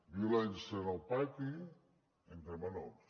violència en el pati entre menors